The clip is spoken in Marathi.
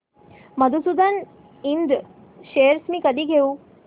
मधुसूदन इंड शेअर्स मी कधी घेऊ